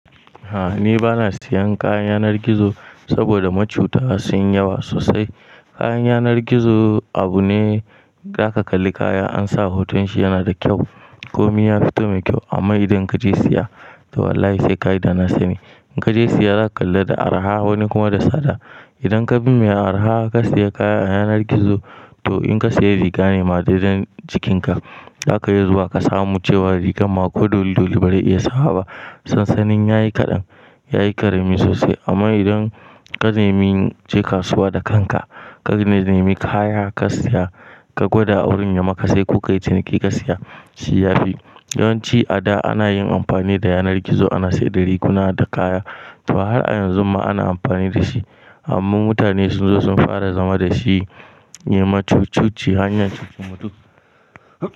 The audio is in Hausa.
A'a ni bana siyan kaya a yanar gizo saboda macuta sun yi yawa sosai. Kayan yanar gizo abu ne zaka kalli kaya an sa hoton shi yana da kyau, komi ya fito mai kyau amma idan kaje siya to wallahi sai kayi dana sani. In kaje siya zaka kalla da araha wani kuma da sada. Idan ka bi mai araha ka siya kaya a yanar gizo to in ka siya riga ne ma daidan jikinka zaka yi zuwa ka samu cewa rigar ma ko dolli dolli ba za ta iya sawa ba. Sansanin ya yi kadan, ya yi karemi sosai amma idan ka nemi je kasuwa da kanka, ka nemi kaya ka siya, ka gwada a wurin ya maka sai kuka yi ciniki ka siya, shi yafi. Yawanci a da ana yin amfani da yanar gizo ana saida riguna da kaya to har a yanzu ma ana amfani da shi amma mutane sun zo sun fara zama da shi ne macuci-macuci, hanyar cikin mutum.